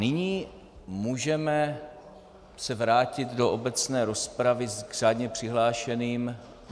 Nyní můžeme se vrátit do obecné rozpravy k řádně přihlášeným.